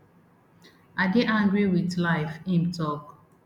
i dey angry wit life im tok